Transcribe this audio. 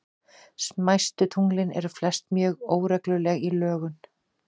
Smæstu tunglin eru flest mjög óregluleg í lögun.